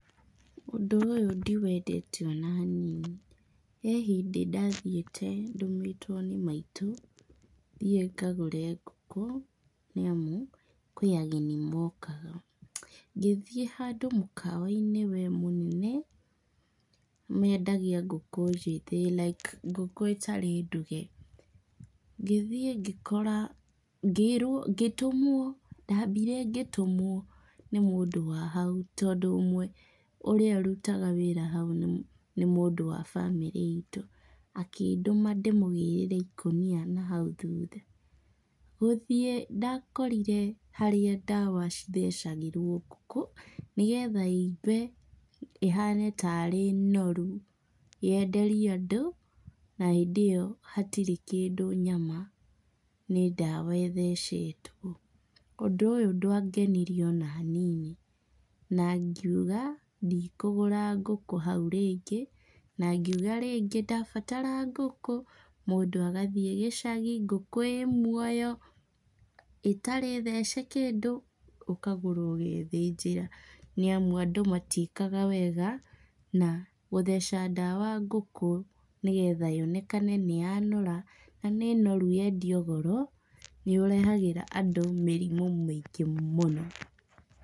Ũndũ ũyũ ndiwendete ona hanini. He hĩndĩ ndathiĩte ndũmĩtwo nĩ maitũ, thiĩ ngagũre ngũkũ nĩamu kwĩ ageni mokaga, ngĩthiĩ handũ mũkawa-inĩ wee mũnene, mendagia ngũkũ njĩthĩ like ngũkũ itarĩ nduge. Ngĩthiĩ ngĩkora, ngĩĩrwo ngĩtũmwo, ndathire ngĩtũmwo nĩ mũndũ wa hau tondũ ũmwe ũrĩa ũrutaga wĩra hau nĩ mũndũ wa bamĩrĩ itũ, akĩndũma ndĩmũgĩrĩre ikũnia nahau thutha. Gũthiĩ ndakorire harĩa ndawa cithecagĩrwo ngũkũ, nĩgetha ĩimbe ĩhane tarĩ noru yenderio andũ na hĩndĩ ĩyo hatirĩ kĩndũ nyama nĩ ndawa ĩthecetwo. Ũndũ ũyũ ndwangenirie ona hanini, na ngiuga ndikũgũra ngũkũ hau rĩngĩ, na ngiuga rĩngĩ ndabatara ngũkũ mũndũ agathiĩ gĩcagi ngũkũ ĩĩ muoyo ĩtarĩ thece kĩndũ ũkagũra ũgethĩnjĩra nĩamu andũ matiĩkaga wega na gũtheca ndawa ngũkũ nĩgetha yonekane nĩ yanora na nĩ noru yendio goro, nĩ ũrehagĩra andũ mĩrimũ mĩingĩ mũno.